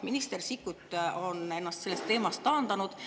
Minister Sikkut on ennast sellest teemast taandanud.